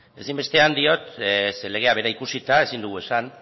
ezinbestean diot ze legea bera ikusita ezin dugu esan